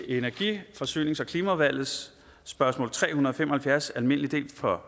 energi forsynings og klimaudvalget spørgsmål tre hundrede og fem og halvfjerds almindelig del fra